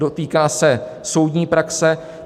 Dotýká se soudní praxe.